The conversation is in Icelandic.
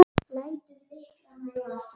Lætur lyklana í vasann.